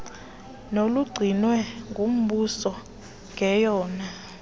nolugcinwe ngumbuso ngeyona